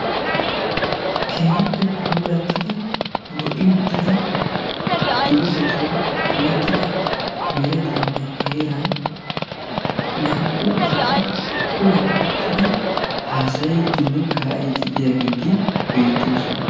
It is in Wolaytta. Keehippe puulattidi lo'i uttida doozatun kamettida meretaanne heeran naa"u asati kuwan uttidi haasayidinne kaa'iidi diyageeti beettoosona.